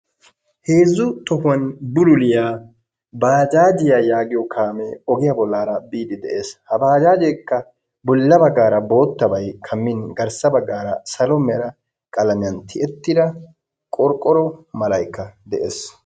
Heezzu tohuwan bululliya bajjaajiya yaggiyo kaamee ogiya bollaara biidi de'ees, ha baajjajjekka bolla baggaara boottabay kammin garssa baggaara salo mera qalamiyan tiyetida qorqqoro Malaykka de'ees.